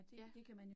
Ja